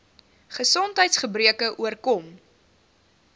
gesondheids gebreke oorkom